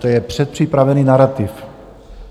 To je předpřipravený narativ.